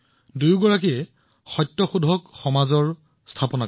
দুয়ো একলগে সত্যশোধক সমাজ প্ৰতিষ্ঠা কৰে